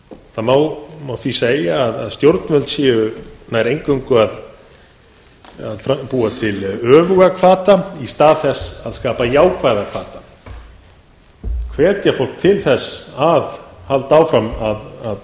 það má því segja að stjórnvöld séu nær eingöngu að bú til öfuga hvata í stað þess að skapa jákvæða hvata hvetja fólk til þess að halda áfram að